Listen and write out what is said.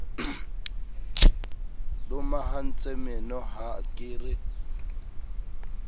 lomahantse meno ha ke re